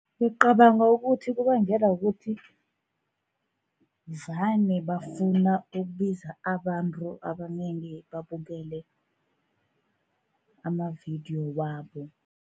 Ngicabanga ukuthi kubangelwa kukuthi vane bafuna ukubiza abantu abanengi, babukele amavidiyo wabo.